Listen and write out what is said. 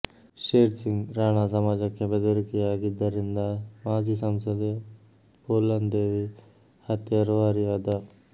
share Singh Rana ಸಮಾಜಕ್ಕೆ ಬೆದರಿಕೆಯಾಗಿದ್ದರಿಂದ ಮಾಜಿ ಸಂಸದೆ ಪೂಲನ್ ದೇವಿ ಹತ್ಯೆಯ ರೂವಾರಿಯಾದ